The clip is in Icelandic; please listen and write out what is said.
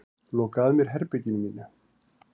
Loka að mér herberginu mínu.